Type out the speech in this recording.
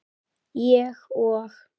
Ég og